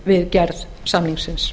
við gerð samningsins